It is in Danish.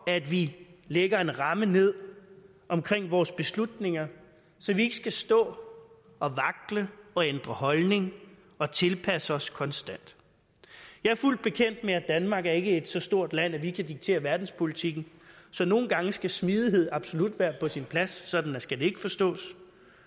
at vi lægger en ramme ned omkring vores beslutninger så vi ikke skal stå og vakle og ændre holdning og tilpasse os konstant jeg er fuldt bekendt med at danmark ikke er så stort et land at vi kan diktere verdenspolitikken så nogle gange skal smidighed absolut være på sin plads sådan skal det ikke forstås